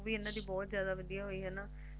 Movie ਇਹਨਾਂ ਦੀ ਬਹੁਤ ਜਾਦਾ ਵਦੀਆ ਹੋਈ ਹੈਨਾ